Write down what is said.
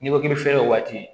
N'i ko k'i bɛ fiyɛ waati